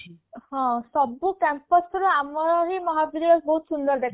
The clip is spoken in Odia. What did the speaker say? ହଁ ସବୁ campus ର ଆମହିଁ ମହାବିଦ୍ୟାଳୟ ବହୁତ ସୁନ୍ଦର ଦେଖାଯାଉଥିଲା